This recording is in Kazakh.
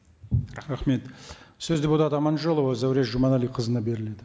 рахмет сөз депутат аманжолова зәуреш жұманәліқызына беріледі